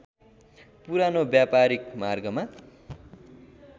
पुरानो व्‍यापारिक मार्गमा